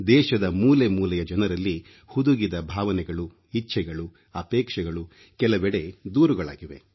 ದೇಶದ ಮೂಲೆಮೂಲೆಯ ಜನರಲ್ಲಿ ಹುದುಗಿದ ಭಾವನೆಗಳು ಇಚ್ಛೆಗಳು ಅಪೇಕ್ಷೆಗಳು ಕೆಲವೆಡೆ ದೂರುಗಳಾಗಿವೆ